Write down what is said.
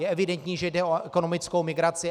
Je evidentní, že jde o ekonomickou migraci.